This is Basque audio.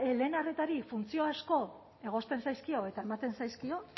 lehen arretari funtzio asko egozten zaizkio eta ematen zaizkio